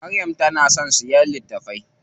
Maryam tana son siya littafai.